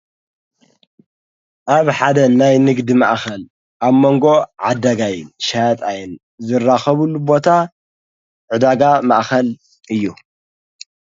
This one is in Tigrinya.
ኣብ ሓደ ናይ ንግዲ መኣኸል ኣብ መንጎ ዓደጋይ ሽያጥኣይን ዝራኸቡሉ ቦታ ዕዳጋ መኣኸል እዩ፡፡